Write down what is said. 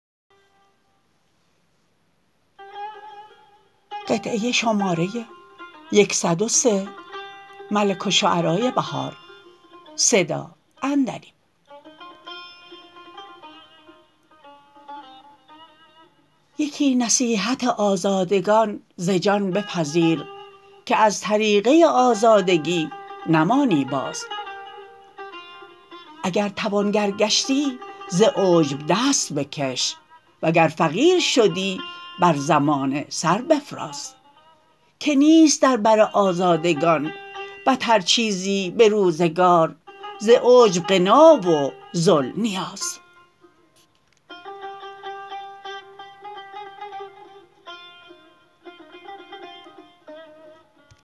یکی نصیحت آزادگان ز جان بپذیر که از طریقه آزادگی نمانی باز اگر توانگر گشتی ز عجب دست بکش وگر فقیر شدی بر زمانه سر بفراز که نیست در بر آزادگان بتر چیزی به روزگار ز عجب غنا و ذل نیاز